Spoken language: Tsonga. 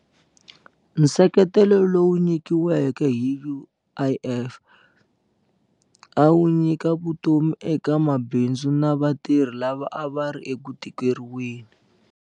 Nseketelo lowu nyikiweke hi UIF a wu nyika vutomi eka mabindzu na vatirhi lava a va ri eku tikeriweni.